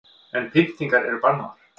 En pyntingar eru bannaðar